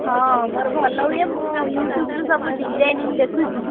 ହଁ ମୋର ଭଲ ହୁଏ ମୁଁ YouTube ରୁ ସବୁ designing ଦେଖୁଛି।